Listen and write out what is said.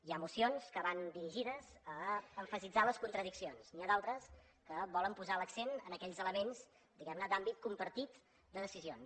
hi ha mocions que van dirigides a emfatitzar les contradiccions n’hi ha d’altres que volen posar l’accent en aquells elements diguem ne d’àmbit compartit de decisions